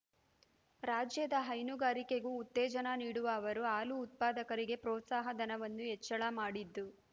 ರಾಜ್ಯದ ಹೈನುಗಾರಿಕೆಗೂ ಉತ್ತೇಜನ ನೀಡಿರುವ ಅವರು ಹಾಲು ಉತ್ಪಾದಕರಿಗೆ ಪ್ರೋತ್ಸಾಹ ಧನವನ್ನು ಹೆಚ್ಚಳ ಮಾಡಿದ್ದು